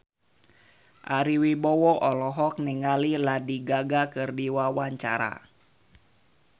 Ari Wibowo olohok ningali Lady Gaga keur diwawancara